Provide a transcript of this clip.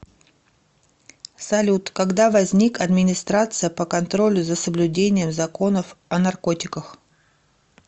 салют когда возник администрация по контролю за соблюдением законов о наркотиках